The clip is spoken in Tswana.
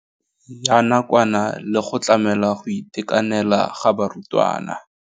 Ya nakwana le go tlamela go itekanela ga barutwana.